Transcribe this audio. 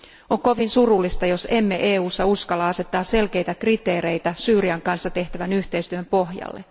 On kovin surullista, jos emme EUssa uskalla asettaa selkeitä kriteereitä Syyrian kanssa tehtävän yhteistyön pohjalle.